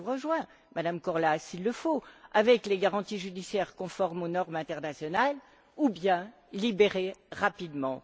Je vous rejoins, Madame Korhola, il le faut, avec les garanties judiciaires conformes aux normes internationales, ou bien il faut les libérer rapidement.